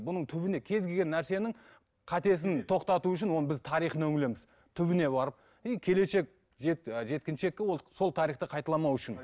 бұның түбіне кез келген нәрсенің қатесін тоқтату үшін оның біз тарихына үңілеміз түбіне барып и келешек зерт жеткеншекті ол сол тарихты қайталамау үшін